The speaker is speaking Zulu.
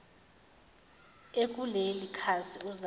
ekuleli khasi uzame